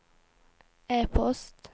e-post